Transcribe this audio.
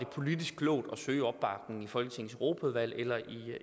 politisk klogt at søge opbakning i folketingets europaudvalg eller